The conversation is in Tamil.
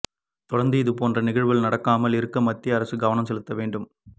தொடர்ந்து இது போன்ற நிகழ்வுகள் நடக்காமல் இருக்க மத்திய அரசு கவனம் செலுத்த வேண்டும்